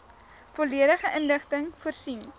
volledige inligting voorsien